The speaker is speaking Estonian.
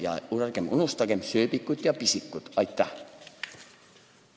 Ja ärgem unustagem sööbikut ja pisikut!